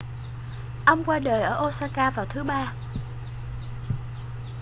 ông qua đời ở osaka vào thứ ba